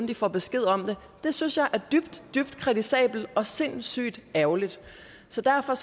de får besked om det det synes jeg er dybt dybt kritisabelt og sindssygt ærgerligt så derfor